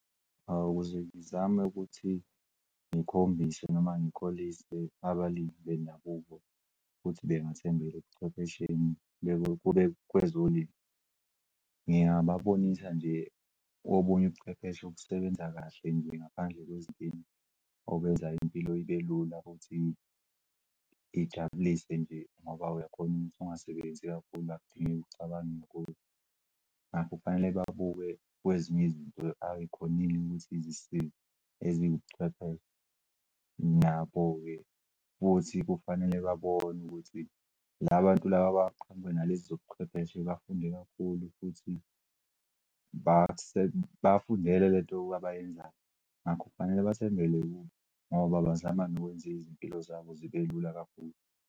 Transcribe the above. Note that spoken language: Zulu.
Hawu ukuze ngizame ukuthi ngikhombise noma ngikholise abalimi bendabuko futhi bengethembela ebuchwephesheni bese-ke kube kwezolimo. Ngingababonisa nje obuny'ubuchwepheshe obusebenza kahle ngaphandle kwezinkinga okwenza impilo ibe lula futhi ijabulise nje ngoba uyakhona ukuthi ungasebenzi kakhulu ngakho akudingeki ucabange kakhulu ngakho kufanele babuke kwezinye izinto ayikhonile ukuthi zisisize eziwubuchwepheshe nabo-ke futhi kufanele babone ukuthi la bantu laba baqhamuke nalezi zobuchwepheshe bafunde kakhulu futhi bafundele lento abayenzayo ngakho kufanele basenzele ngoba bazama nokwenza izimpilo zabo zibelula kakhulu.